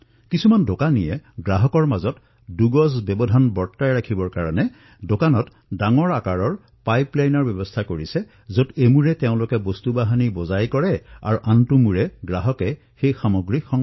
বহু দোকানীয়ে দুই গজৰ দূৰত্বৰ বাবে দোকানত বৃহৎ পাইপলাইন সংযোজিত কৰিছে যত এফালে তেওঁ ওপৰৰ পৰা সামগ্ৰীখিনি দিয়ে আৰু আনটো ফালে গ্ৰাহকে নিজৰ সামগ্ৰী গ্ৰহণ কৰে